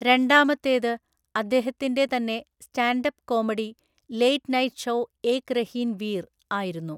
രണ്ടാമത്തേത്, അദ്ദേഹത്തിന്റെ തന്നെ stand up comedy 'late night show Ek Rahin Veer' ആയിരുന്നു.